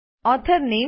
author નામે